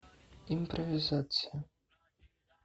импровизация